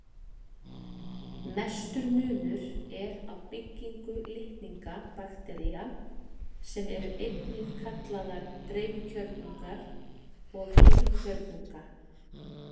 Mestur munur er á byggingu litninga baktería, sem eru einnig kallaðar dreifkjörnungar, og heilkjörnunga.